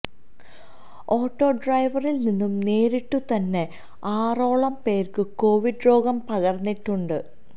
auto ഡ്രൈവറില് നിന്നു നേരിട്ടു തന്നെ ആറോളം പേര്ക്ക് കൊവിഡ് രോഗം പകര്ന്നിട്ടുണ്ട്